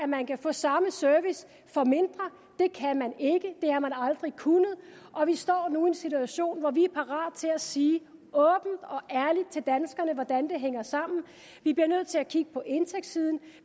man kan få samme service for mindre det kan man ikke det har man aldrig kunnet og vi står nu i en situation hvor vi er parate til at sige til danskerne hvordan det hænger sammen vi bliver nødt til at kigge på indtægtssiden